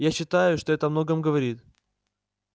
я считаю что это о многом говорит